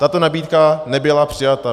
Tato nabídka nebyla přijata.